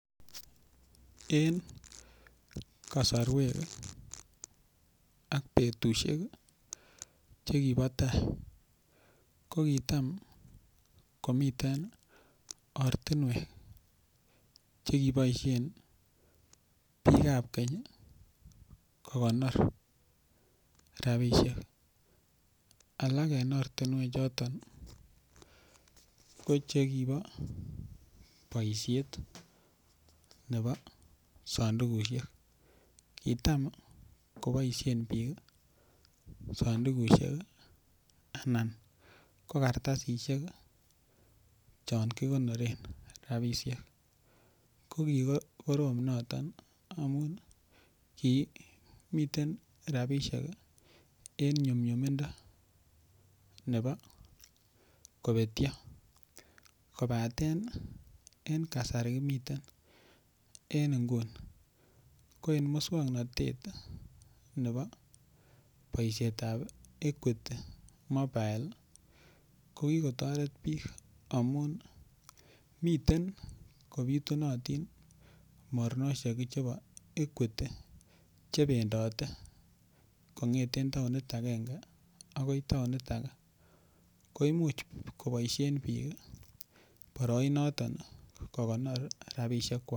En kasarwek ak betusiek Che kibo tai ko kitam komiten ortinwek Che kiboisien bikab keny kogonor rabisiek alak en ortinwechuton ko Che kibo boisiet nebo sandukusiek kitam koboisien sandukusiek anan ko kartasisyek chon kigonoren rabisiek ko ki korom noton ki miten en nyumnyumindo nebo kobetyo kobaten en kasari kimiten en nguni ko en moswoknatetab equity mobile ko ki kotoret bik amun miten kobitunatin mornosiek chebo equity Che bendote kongeten taonit agenge agoi taonit age koimuch koboisien bik boroinoto kogonor rabisiek kwak